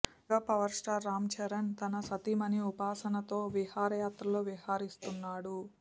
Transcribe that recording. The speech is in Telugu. మెగా పవర్ స్టార్ రాంచరణ్ తన సతీమణి ఉపాసనతో విహారయాత్రలో విహరిస్తున్నాడు